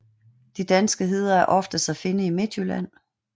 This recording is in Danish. De danske heder er oftest at finde i Midtjylland